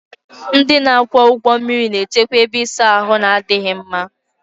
Ndị na-akwọ ụgbọ mmiri na-echekwa ebe ịsa ahụ na-adịghị mma